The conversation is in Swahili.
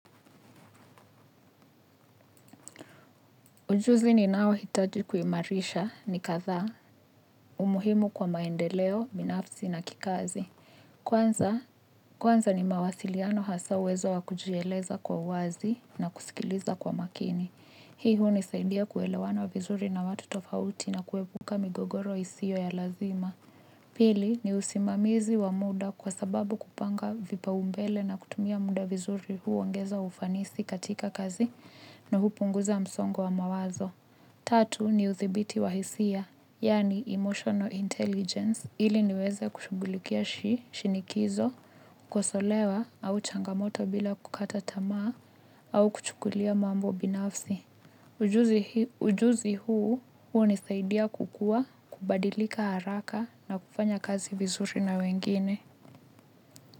Ujuzi ninaohitaji kuimarisha ni kadhaa. Umuhimu kwa maendeleo, binafsi na kikazi. Kwanza ni mawasiliano hasa uwezo wa kujieleza kwa wazi na kusikiliza kwa makini. Hii hunisaidia kuelewana vizuri na watu tofauti na kuepuka migogoro isiyo ya lazima. Pili ni usimamizi wa muda kwa sababu kupanga vipaumbele na kutumia muda vizuri huongeza ufanisi katika kazi na hupunguza msongo wa mawazo. Tatu ni uthibiti wa hisia, yaani emotional intelligence, ili niweze kushughulikia shinikizo, kukosolewa, au changamoto bila kukata tamaa, au kuchukulia mambo binafsi. Ujuzi huu, hunisaidia kukua, kubadilika haraka na kufanya kazi vizuri na wengine.